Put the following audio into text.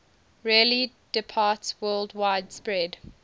rarely departsworldwide spread